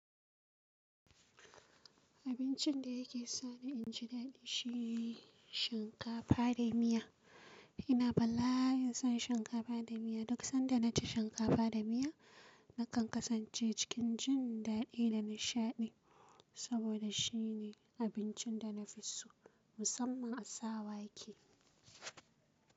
Abincin da yake sa ni in ji daɗi shi ne shinkafa da miya. Ina bala'in son shinkafa da miya. Duk sanda na ci shinkafa da miya, na kan kasance cikin jin daɗi da nishaɗi saboda shi ne abincin da na fi so musamman a sa wake.